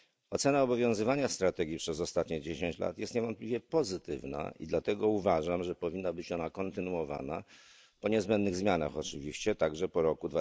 Ocena obowiązywania strategii przez ostatnie dziesięć lat jest niewątpliwie pozytywna i dlatego uważam, że powinna być ona kontynuowana, po niezbędnych zmianach oczywiście, także po roku